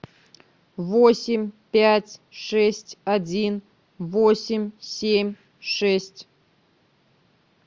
восемь пять шесть один восемь семь шесть